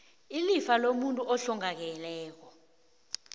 ilifa lomuntu ohlongakeleko